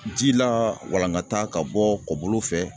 Ji lawalangata ka bɔ kɔbolo fɛ.